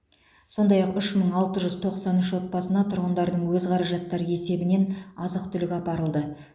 сондай ақ үш мың алты жүз тоқсан үш отбасына тұрғындардың өз қаражаттары есебінен азық түлік апарылды